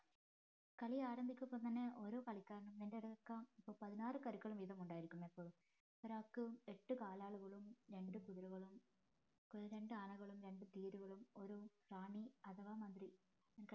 കളി ആരംഭിക്കുമ്പോ തന്നെ ഓരോ കളിക്കാരനും പതിനാറ് കരുക്കള് വീതം ഉണ്ടായിരിക്കും എപ്പോഴും ഒരാൾക്ക് എട്ട് കാലാളുകളും രണ്ട് കുതിരകളും രണ്ട് ആനകളും രണ്ട് തേര്കളും ഒരു റാണി അഥവാ മന്ത്രി